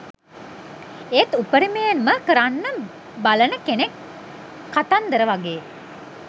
එත් උපරිමයෙන්ම කරන්න බලන කෙනෙක් කතන්දර වගේ